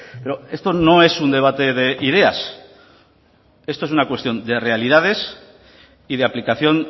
pero esto no es un debate de ideas esto es una cuestión de realidades y de aplicación